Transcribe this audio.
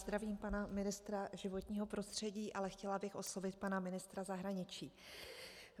Zdravím pana ministra životního prostředí, ale chtěla bych oslovit pana ministra zahraničí.